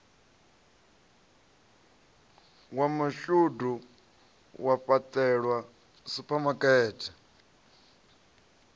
wa mashudu wa fhaṱelwa suphamakete